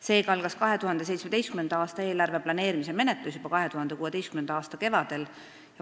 Seega algas 2017. aasta eelarve planeerimise menetlus juba 2016. aasta kevadel.